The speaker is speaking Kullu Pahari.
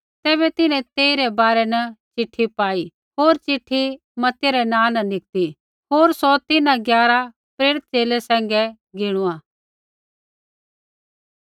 तैबै तिन्हैं तेइरै बारै न चिट्ठी पाई होर चिट्ठी मत्तित्याह रै नाँ री निकती होर सौ तिन्हां ग्यारा प्रेरित च़ेले सैंघै गिणुआ